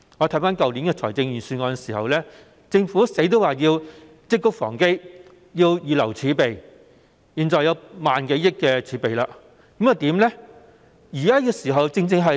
在去年的預算案，政府堅持要積穀防飢，預留儲備；現時有1萬多億元的儲備，政府應如何運用？